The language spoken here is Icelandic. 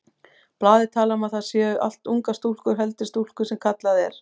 Blaðið talar um að þetta séu allt ungar stúlkur, heldri stúlkur sem kallað er.